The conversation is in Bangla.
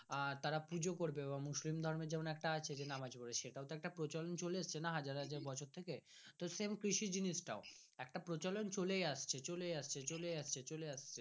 তারা পূজো করবে এবং মুসলিম ধর্মের যেমন একটা আছে যে নামাজ পরবে সেটাও তো একটা পচলোন চলে আসছে হাজার হাজার বছর থেকে তো তেমন কৃষি জিনিস টা একটা প্রচলন চলেই আসছে চলেই আসছে চলেই আসছে চলেই আসছে